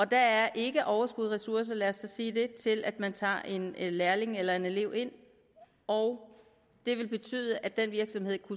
der er ikke overskud og ressourcer lad os så sige det til at man tager en lærling eller en elev ind og det vil betyde at den virksomhed